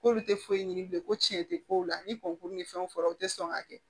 K'olu tɛ foyi ɲini bilen ko tiɲɛ tɛ kow la ni kɔnk'u ni fɛnw fɔra u tɛ sɔn k'a kɛ